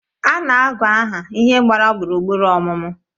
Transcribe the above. Ana agu ahụ ihe gbara gburugburu ọmụmụ